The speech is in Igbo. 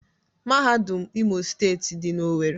Mahadum Imo steetị di na Owerri.